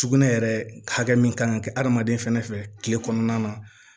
Sugunɛ yɛrɛ hakɛ min kan ka kɛ adamaden fɛnɛ fɛ tile kɔnɔna na